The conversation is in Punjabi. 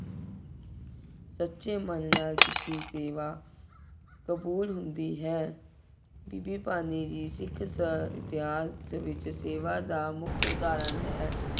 ਸੱਚੇ ਮਨ ਨਾਲ ਕੀਤੀ ਸੇਵਾ, ਕਬੂਲ ਹੁੰਦੀ ਹੈ। ਬੀਬੀ ਭਾਨੀ ਜੀ ਸਿੱਖ ਇਤਿਹਾਸ ਵਿੱਚ ਸੇਵਾ ਦਾ ਮੁੱਖ ਉਦਾਹਰਨ ਹੈ।